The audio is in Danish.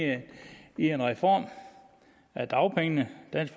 en reform af dagpengene dansk